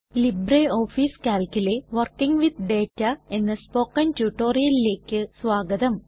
LibreOffice കാൽക്കിലെ working with data എന്ന spoken ട്യൂട്ടോറിയലേക്കു സ്വാഗതം